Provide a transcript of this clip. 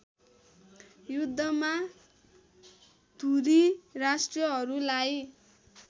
युद्धमा धुरी राष्ट्रहरूलाई